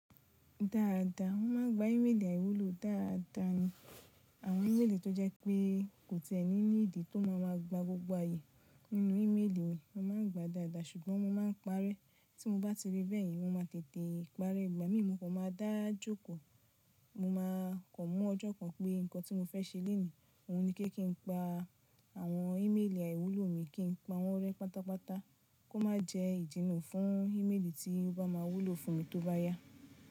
Dáadáa, wọ́n ma gba ímélì àìwúlò dáadáa ni. Àwọn ímélì tó jẹ́ pé kò tẹ ẹni ní ìdí tó máa ma gba gbogbo ayé nínú ímélì mi, a máà ń gba dáadáa ṣùgbọ́n mo ma ń parẹ́. Tí mo bá ti rí bẹ́ẹ̀ yen mo ma tètè parẹ́. Ìgbà mí mo kan maa dá jókòó, mo ma kàn mú ọjọ́ kan pé nǹkan tí mo fẹ́ ṣe lèní, òhun ní kí n pa àwọn ímélì àìwúlò mi kí n pa wọ́n rẹ́ pátápátá kó má jẹ́ ìjínà fún ímélì tí wọn bá máa wúlò fún mi tó bá yá.